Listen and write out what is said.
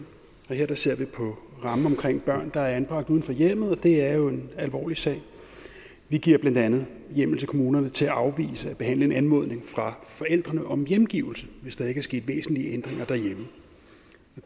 her ser vi på rammen omkring børn der er anbragt uden for hjemmet og det er jo en alvorlig sag vi giver blandt andet hjemmel til kommunerne til at afvise at behandle en anmodning fra forældrene om hjemgivelse hvis der ikke er sket væsentlige ændringer derhjemme